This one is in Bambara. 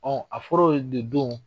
Ɔ a fɔr'o ye de don wo.